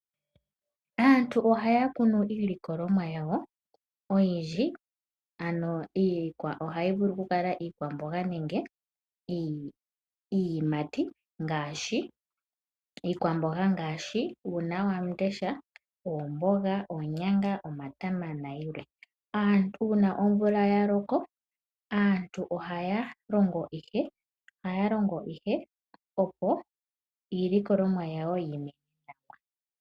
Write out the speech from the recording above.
Aantu ohaya kunu iilikolomwa yawo oyindji, ano ohayi vulu okukala iikwamboga nenge iiyimati. Iikwamboga ngaashi uunawamundesha, oomboga, oonyanga, omatama nayilwe. Uuna omvula ya loko, aantu ohaya longo ihe opo iilikolomwa yawo yi ime.